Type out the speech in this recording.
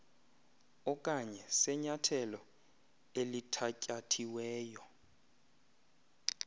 okanye senyathelo elithatyathiweyo